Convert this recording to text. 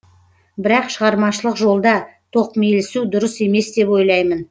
бірақ шығармашылық жолда тоқмейілсу дұрыс емес деп ойлаймын